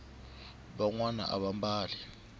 vanwani ava mbali